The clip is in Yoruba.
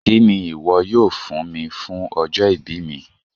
Kíni iwọ̀ yóò fún mí fún ọjọ́-ìbí mí?